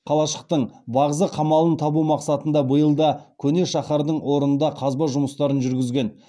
қалашықтың бағзы қамалын табу мақсатында биыл да көне шаһардың орнында қазба жұмыстарын жүргізген